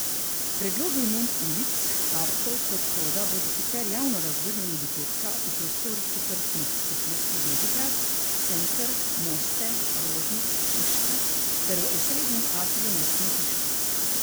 Predlogi imen ulic, parkov, podhoda bodo sicer javno razgrnjeni do petka v prostorih četrtnih skupnosti Bežigrad, Center, Moste, Rožnik, Šiška ter v osrednjem atriju mestne hiše.